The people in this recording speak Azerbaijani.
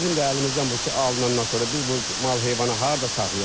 Bizim də əlimizdən bu ki alınandan sonra biz bu mal-heyvanı harda saxlayaq?